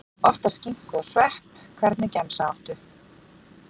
Oftast skinku og svepp Hvernig gemsa áttu?